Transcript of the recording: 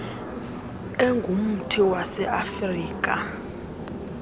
engumthi wase afirika